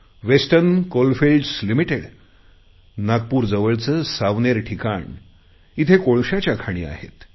western coal fields limited नागपूरजवळचे सावनेर ठिकाण येथे कोळशाच्या खाणी आहेत